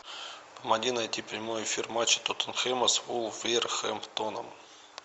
помоги найти прямой эфир матча тоттенхэма с вулверхэмптоном